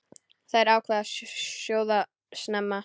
Þær ákváðu að sjóða snemma.